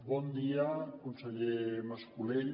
bon dia conseller mascolell